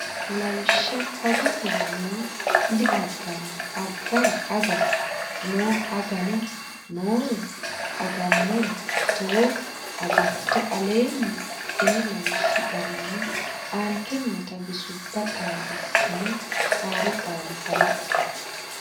Lawishsha agate nno diaganno agara aga nno aganno nnore agannore tto agatto Aleenni la ini lawishshi garinni aante noota bisubba xaaddissine haaroo qaalla kalaqqe.